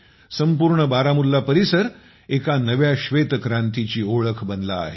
संपूर्ण बारामुल्ला परिसर एका नव्या श्वेतक्रांतीची ओळख बनला आहे